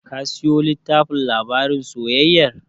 Ka siyo tllittafin labarin soyayyar?